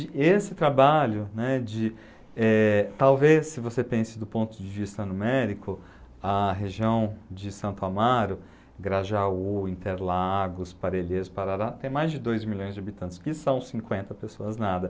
esse trabalho, né, de, eh, talvez se você pense do ponto de vista numérico, a região de Santo Amaro, Grajaú, Interlagos, Parelheiros, Parará, tem mais de dois milhões de habitantes, o que são cinquenta pessoas nada.